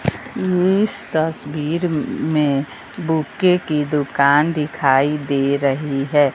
इस तस्वीर में बुके की दुकान दिखाई दे रही है।